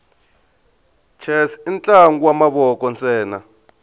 chess intlangu wamavoko nsena